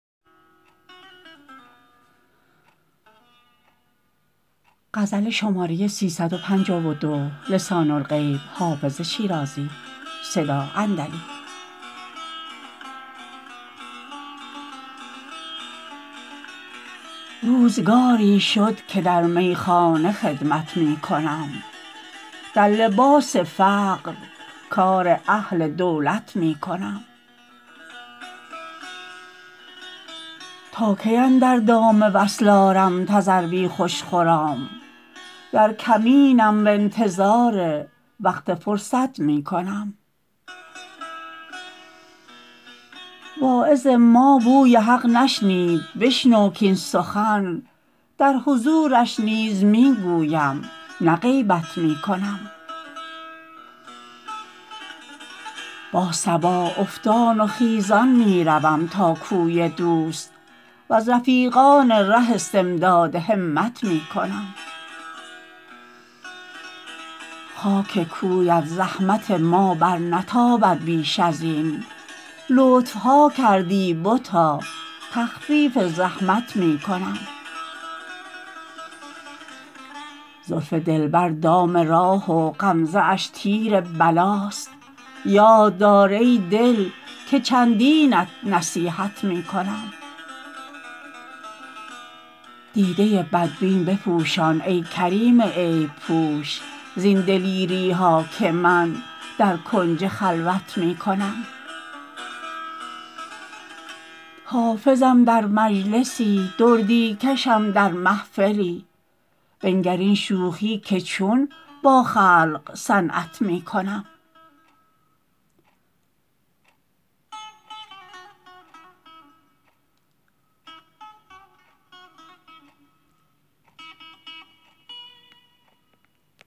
روزگاری شد که در میخانه خدمت می کنم در لباس فقر کار اهل دولت می کنم تا کی اندر دام وصل آرم تذروی خوش خرام در کمینم و انتظار وقت فرصت می کنم واعظ ما بوی حق نشنید بشنو کاین سخن در حضورش نیز می گویم نه غیبت می کنم با صبا افتان و خیزان می روم تا کوی دوست و از رفیقان ره استمداد همت می کنم خاک کویت زحمت ما برنتابد بیش از این لطف ها کردی بتا تخفیف زحمت می کنم زلف دلبر دام راه و غمزه اش تیر بلاست یاد دار ای دل که چندینت نصیحت می کنم دیده بدبین بپوشان ای کریم عیب پوش زین دلیری ها که من در کنج خلوت می کنم حافظم در مجلسی دردی کشم در محفلی بنگر این شوخی که چون با خلق صنعت می کنم